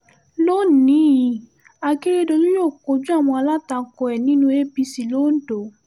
lónì-in akérédólù yóò kojú àwọn alátakò ẹ̀ nínú apc lọ́dọ́